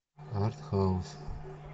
арт хаус